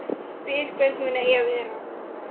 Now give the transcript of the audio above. Spyr hvernig hún eigi að vera.